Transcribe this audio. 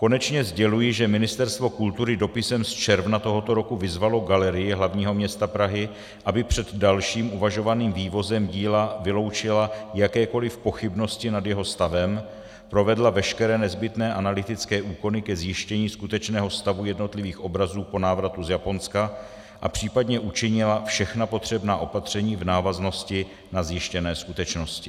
Konečně sděluji, že Ministerstvo kultury dopisem z června tohoto roku vyzvalo Galerii hlavního města Prahy, aby před dalším uvažovaným vývozem díla vyloučila jakékoli pochybnosti nad jeho stavem, provedla veškeré nezbytné analytické úkony ke zjištění skutečného stavu jednotlivých obrazů po návratu z Japonska a případně učinila všechna potřebná opatření v návaznosti na zjištěné skutečnosti.